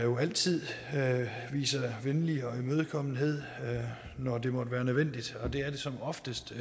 altid viser venlig imødekommenhed når det måtte være nødvendigt og det er det som oftest